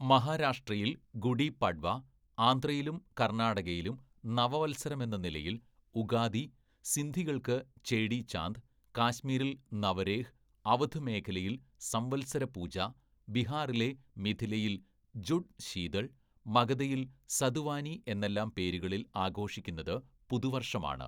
"മഹാരാഷ്ട്രയില്‍ ഗുഡി പഡ്‌വ, ആന്ധ്രയിലും കര്‍ണ്ണാടകയിലും നവവത്സരമെന്ന നിലയില്‍ ഉഗാദി, സിന്ധികള്‍ക്ക് ചേടീ ചാന്ദ്, കാശ്മീരില്‍ നവരേഹ്, അവധ് മേഖലയില്‍ സംവത്സരപൂജാ, ബിഹാറിലെ മിഥിലയില്‍ ജുഡ് ശീതള്‍, മഗധയില്‍ സതുവാനീ എന്നെല്ലാം പേരുകളില്‍ ആഘോഷിക്കുന്നത് പുതുവര്‍ഷമാണ്. "